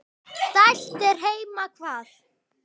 Dælt er heima hvað.